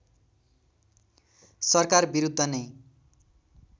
सरकार विरूद्ध नै